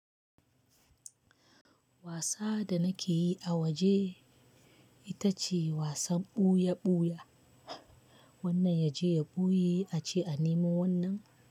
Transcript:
Wasa da nake yi a waje ita ce wasan ɓuya-ɓuya. Wannan ya je ya ɓuye a ce a nemo wannan.